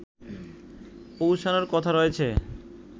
পৌঁছানোর কথা রয়েছে